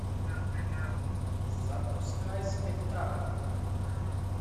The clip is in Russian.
запускай спектакль